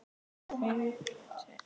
Hann kallaði efnið brúnt blý.